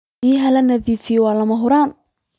Biyaha la nadiifiyey waa lama huraan.